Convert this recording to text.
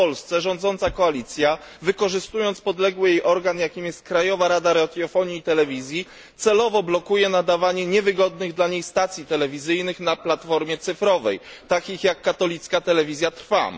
w Polsce rządząca koalicja, wykorzystując podległy jej organ jakim jest Krajowa Rada Radiofonii i Telewizji, celowo blokuje nadawanie niewygodnych dla nich stacji telewizyjnych na platformie cyfrowej, takich jak katolicka telewizja Trwam.